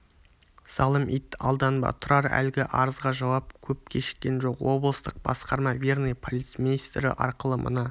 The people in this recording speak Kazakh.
залым ит алданба тұрар әлгі арызға жауап көп кешіккен жоқ облыстық басқарма верный полицмейстірі арқылы мына